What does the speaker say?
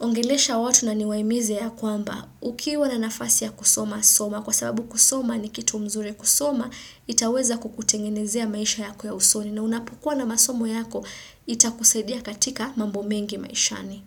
ongelesha watu na niwaimize ya kwamba ukiwa na nafasi ya kusoma soma kwa sababu kusoma ni kitu mzuri kusoma itaweza kukutengenezea maisha yako ya usoni na unapokua na masomo yako ita kusaidia katika mambo mengi maishani.